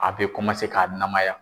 A be ka namaya.